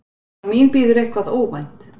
Og mín bíður eitthvað óvænt.